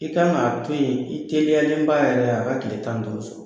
I ka kan k'a to yen i teliyalenba yɛrɛ a ka tile tan ni duuru sɔrɔ